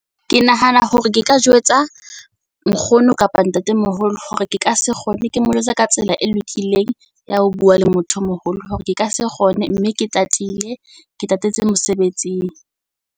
Ke nahana hore ke ka jwetsa nkgono kapa ntatemoholo hore ke ka se kgone ke mo jwetse ka tsela e lokileng ya ho bua le motho o moholo. Hore ke ka se kgone mme ke tatile, ke tatetse mosebetsing.